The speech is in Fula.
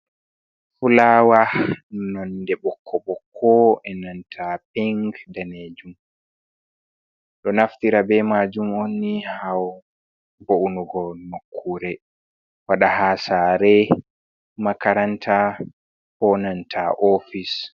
Fulawa nonde bokko boko, inanta pink, danejum, ɗo naftira be majun onni havoungo nokure, wada ha sare, makaranta, enanta ofise.